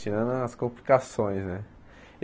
Tirando as complicações, né?